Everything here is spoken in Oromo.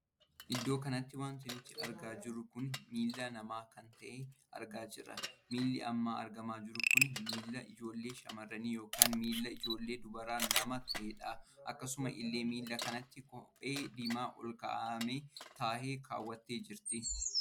Iddoo kanatti wanti nuti argaa jirru kun miillaa namaa kan tahee argaa jirra. milli amma argamaa jiru kun Milla ijoollee shamarranii ykn miilla ijoollee dubaraa nama tahedha. akkasuma illee miilla kanatti kophee diimaa ol kaa'aa tahee kawwattee jirti.